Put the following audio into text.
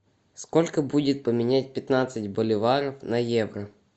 сколько будет поменять пятнадцать боливаров на евро